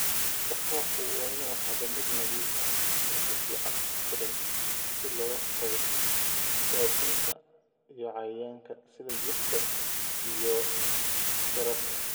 Bakhaarku waa inuu ahaadaa mid nadiif ah oo si fiican u xidhan si looga hortago daadinta & cayayaanka sida jiirka iyo xasharaadka.